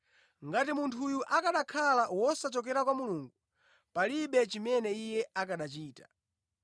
Ngati munthu uyu akanakhala wosachokera kwa Mulungu, palibe chimene Iye akanachita.”